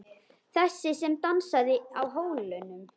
Þessi sem dansaði á hólnum.